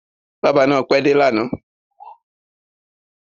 Bábà náà pẹ́ dé lánàá.